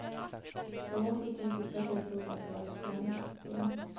Dom var så typiska så jag trodde att det var ett skämt. punkt